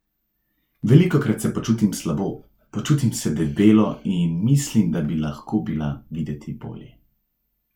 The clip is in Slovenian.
Velikokrat se počutim slabo, počutim se debelo in mislim, da bi lahko bila videti bolje.